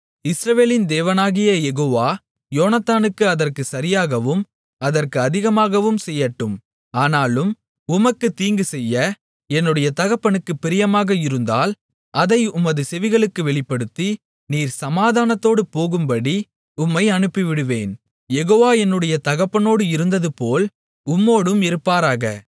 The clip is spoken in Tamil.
இஸ்ரவேலின் தேவனாகிய யெகோவா யோனத்தானுக்கு அதற்குச் சரியாகவும் அதற்கு அதிகமாகவும் செய்யட்டும் ஆனாலும் உமக்குத் தீங்குசெய்ய என்னுடைய தகப்பனுக்குப் பிரியமாக இருந்தால் அதை உமது செவிகளுக்கு வெளிப்படுத்தி நீர் சமாதானத்தோடு போகும்படி உம்மை அனுப்பிவிடுவேன் யெகோவா என்னுடைய தகப்பனோடு இருந்ததுபோல் உம்மோடும் இருப்பாராக